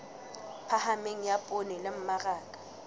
phahameng ya poone le mmaraka